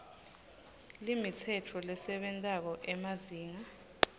limitsetfo lesebentako emazinga